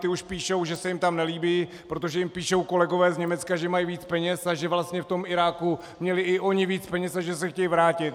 Ti už píšou, že se jim tam nelíbí, protože jim píšou kolegové z Německa, že mají víc peněz, a že vlastně v tom Iráku měli i oni víc peněz a že se chtějí vrátit.